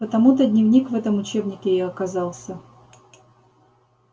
потому-то дневник в этом учебнике и оказался